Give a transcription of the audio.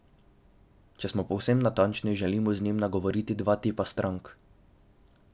Če smo povsem natančni, želimo z njim nagovoriti dva tipa strank.